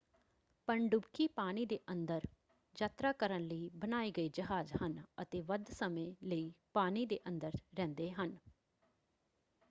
ਪਣਡੁਬਕੀ ਪਾਣੀ ਦੇ ਅੰਦਰ ਯਾਤਰਾ ਕਰਨ ਲਈ ਬਣਾਏ ਗਏ ਜਹਾਜ ਹਨ ਅਤੇ ਵੱਧ ਸਮੇਂ ਲਈ ਪਾਣੀ ਦੇ ਅੰਦਰ ਰਹਿੰਦੇ ਹਨ।